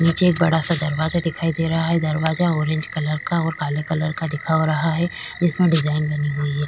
नीचे एक बडासा दरवाजा दिखाई दे रहा है दरवाजा ऑरेंज कलर का और काले कलर का दिखा हो रहा है जिसमे डिजाईन बनी हुई है।